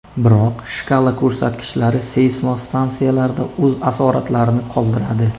Biroq shkala ko‘rsatkichlari seysmostansiyalarda o‘z asoratlarini qoldiradi.